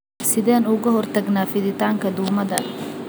Sideen uga hortagnaa fiditaanka duumada?